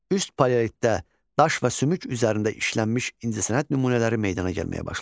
Üst paleolitdə daş və sümük üzərində işlənmiş incəsənət nümunələri meydana gəlməyə başlamışdı.